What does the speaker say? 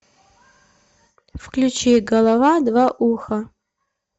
включи голова два уха